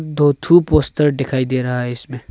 दो थू पोस्टर दिखाई दे रहा है इसमें।